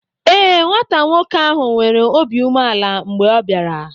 Ee, nwata nwoke ahụ nwere obi umeala mgbe ọ bịara.